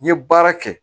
N ye baara kɛ